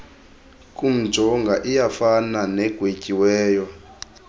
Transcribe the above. kumjonga iyafana negwetyiweyo